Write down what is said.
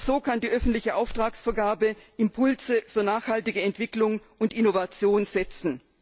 Nur so kann die öffentliche Auftragsvergabe Impulse für nachhaltige Entwicklung und Innovation setzen.